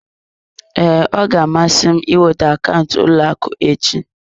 Ee, ọ ga-amasị m ịnweta akaụntụ ụlọ akụ echi.